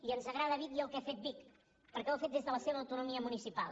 i ens agrada vic i el que ha fet vic perquè ho ha fet des de la seva autonomia municipal